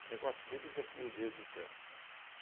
O negócio deles é fluidez de trânsito.